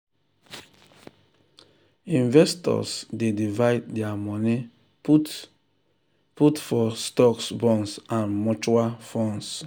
investors dey divide their money put put for stocks bonds and mutual funds.